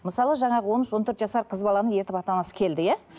мысалы жаңағы он үш он төрт жасар қыз баланы ертіп ата анасы келді иә